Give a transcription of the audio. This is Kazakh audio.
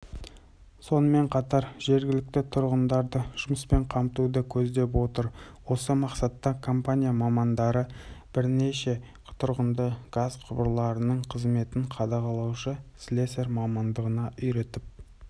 сонымен қатар жергілікті тұрғындарды жұмыспен қамтуды көздеп отыр осы мақсатта компания мамандары бірнеше тұрғынды газ құбырларының қызметін қадағалаушы слесарь мамандығына үйретіп